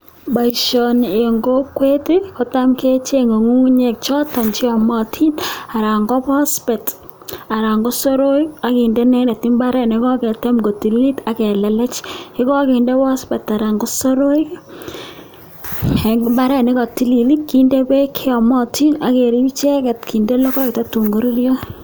Boisioni eng kokwet kotam kechenge ngungunyek choto cheyamatin anan ko phosphate anan ko soroik akende imbaaret nekoketem kotililit ake lelech. Ye kakinde phosphate anan ko soroik eng imbaaret ne katilil kinde beek cheyamatin akerip icheket kinde logoek akoi tun koruryo.